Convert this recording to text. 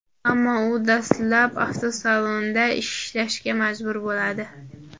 Ammo u dastlab avtosalonda ishlashga majbur bo‘ladi.